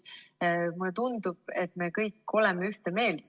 Mulle tundub, et me kõik oleme selles ühte meelt.